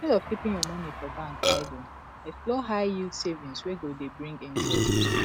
instead of keeping your money for bank idle explore high yield savings wey go dey bring interest